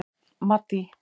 Maddý